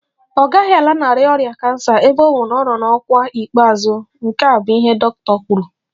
Ọ gaghị alanarị ọrịa kansa ebe ọ bụ na ọ nọ n'ọkwa ikpeazụ, nke a bụ ihe dọkịta kwuru